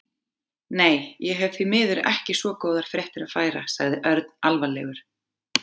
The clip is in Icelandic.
Nei, ég hef því miður ekki svo góðar fréttir að færa sagði Örn alvarlegur.